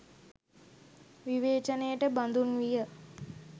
විවේචනයට බඳුන් විය.